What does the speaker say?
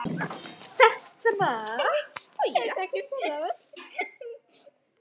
Þess sem var.